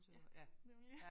Ja nemlig